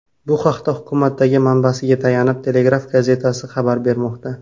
Bu haqda hukumatdagi manbasiga tayanib, Telegraph gazetasi xabar bermoqda .